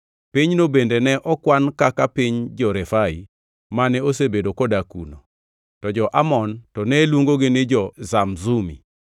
(Pinyno bende ne okwan kaka piny jo-Refai mane osebedo kodak kuno, to jo-Amon to ne luongogi ni jo-Zamzumi.